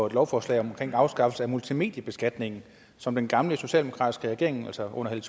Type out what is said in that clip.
et lovforslag om afskaffelse af multimediebeskatningen som den gamle socialdemokratiske regering altså under helle